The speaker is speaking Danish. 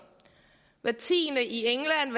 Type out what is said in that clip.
hver tiende i england